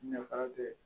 Nafa tɛ